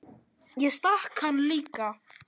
Ég stakk hann líka.